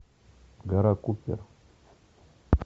гора куппер